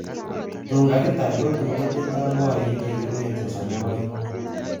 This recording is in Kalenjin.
Tun kakitar, kotun kotindoi gorik che kiruen sosom ak o'eng.